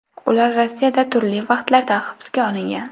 Ular Rossiyada turli vaqtlarda hibsga olingan.